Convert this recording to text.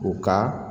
U ka